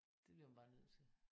Det bliver man bare nødt til